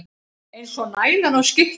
Eins og nælan á skikkjunni.